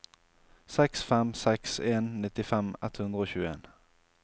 seks fem seks en nittifem ett hundre og tjueen